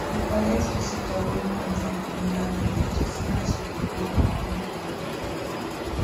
we collect visitor wey come from anoda village to see as we dey do our own clearing for here